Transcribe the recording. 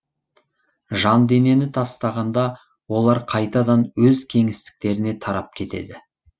жан денені тастағанда олар қайтадан өз кеңістіктеріне тарап кетеді